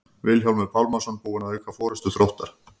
Vilhjálmur Pálmason búinn að auka forystu Þróttar.